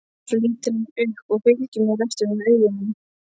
Svo lítur hann upp og fylgir mér eftir með augunum.